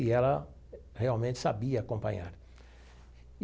E ela realmente sabia acompanhar.